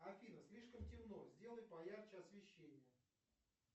афина слишком темно сделай поярче освещение